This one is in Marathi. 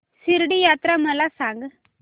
शिर्डी यात्रा मला सांग